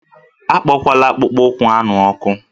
Akpola akpụkpọ ụkwụ anụ m ọkụ!